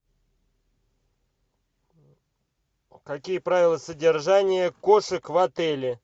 какие правила содержания кошек в отеле